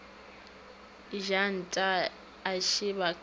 ja nta a šeba ka